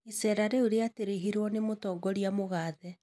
Icera rĩu rĩatirihirwo nĩ mũtongoria mũgathe